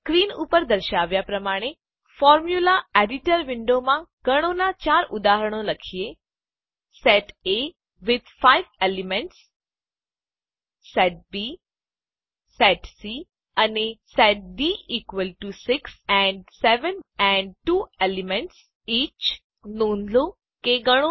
screen ઉપર દર્શાવ્યાં પ્રમાણે ફોર્મ્યુલા એડીટર વિન્ડોમાં ગણોનાં 4 ઉદાહરણ લખીએ સેટ એ વિથ 5 એલિમેન્ટ્સ ગણ એ 5 ઘટકો સાથે સેટ બી ગણ B સેટ સી ગણ C અને set D equal to 6 and 7 and 2 elements each ગણ ડી 6 અને 7 ની બરાબર દરેક 2 ઘટકો સહીત